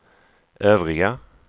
övriga